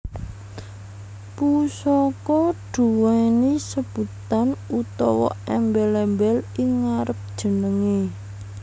Pusaka duwéni sebutan utawa èmbèl èmbèl ing ngarep jenengè